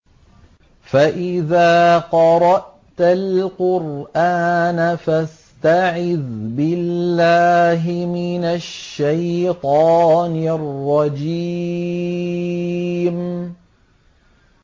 فَإِذَا قَرَأْتَ الْقُرْآنَ فَاسْتَعِذْ بِاللَّهِ مِنَ الشَّيْطَانِ الرَّجِيمِ